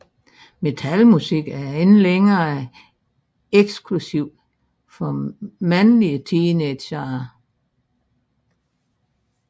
Metalmusik er ikke længere eksklusivt for mandlige teenagere